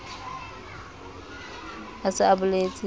a se a boletse a